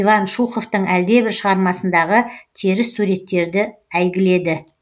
иван шуховтың әлдебір шығармасындағы теріс суреттерді әйгіледі